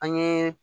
An ye